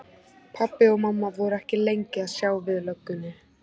Pabbi og mamma voru ekki lengi að sjá við löggunni.